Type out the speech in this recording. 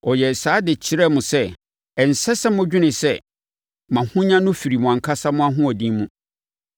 Ɔyɛɛ saa de kyerɛɛ mo sɛ, ɛnsɛ sɛ modwene sɛ mo ahonya no firi mo ankasa mo ahoɔden mu.